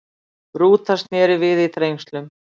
Rúta snéri við í Þrengslum